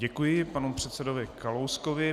Děkuji panu předsedovi Kalouskovi.